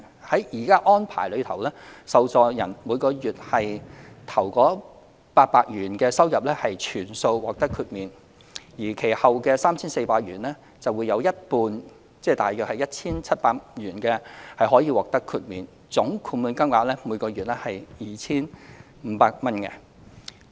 在現行安排下，受助人每月首800元的收入可全數獲得豁免，而其後的 3,400 元則有一半可獲豁免，總豁免金額每月最高為 2,500 元。